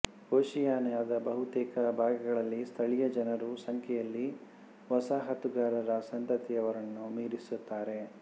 ಓಷಿಯಾನಿಯಾದ ಬಹುತೇಕ ಭಾಗಗಳಲ್ಲಿ ಸ್ಥಳೀಯ ಜನರು ಸಂಖ್ಯೆಯಲ್ಲಿ ವಸಾಹತುಗಾರರ ಸಂತತಿಯವರನ್ನು ಮೀರಿಸುತ್ತಾರೆ